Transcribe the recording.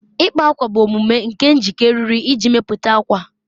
ịkpa ákwà bụ omume nke njikọ eriri iji mepụta ákwà